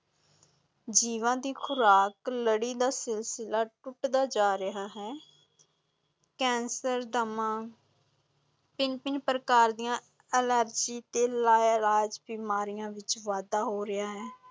ਜੀਵਾਂ ਦੀ ਖ਼ੁਰਾਕ ਲੜੀ ਦਾ ਸਿਲਸਿਲਾ ਟੁੱਟਦਾ ਜਾ ਰਿਹਾ ਹੈ ਕੈਂਸਰ, ਦਮਾ ਭਿੰਨ ਭਿੰਨ ਪ੍ਰਕਾਰ ਦੀਆਂ ਐਲਰਜੀ ਤੇ ਲਾਇਲਾਜ ਬਿਮਾਰੀਆਂ ਵਿਚ ਵਾਧਾ ਹੋ ਰਿਹਾ ਹੈ।